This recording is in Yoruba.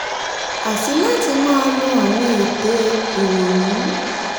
àti láti máa lo àwọn ète ìrònú